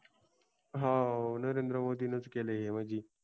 हो नरेंद्र मोदींनीच केलय म्हंजी